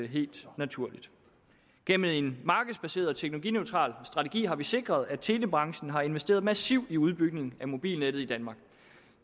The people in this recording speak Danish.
helt naturligt gennem en markedsbaseret og teknologineutral strategi har vi sikret at telebranchen har investeret massivt i udbygning af mobilnettet i danmark